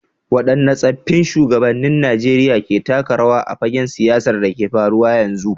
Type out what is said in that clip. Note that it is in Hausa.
Waɗanne tsaffin shugabannin Najeriya ke taka rawa a fagen siyasar da ke faruwa a yanzu.